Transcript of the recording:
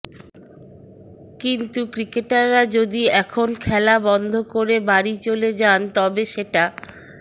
কিন্তু ক্রিকেটাররা যদি এখন খেলা বন্ধ করে বাড়ি চলে যান তবে সেটা